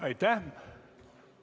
Aitäh!